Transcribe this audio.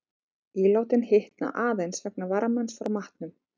Ílátin hitna aðeins vegna varmans frá matnum.